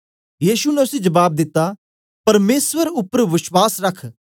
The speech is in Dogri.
यीशु ने उसी जबाब दित्ता परमेसर उपर बश्वास रख